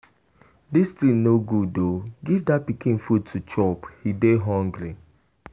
Dis thing no good oo. Give dat pikin food to chop, he dey hungry.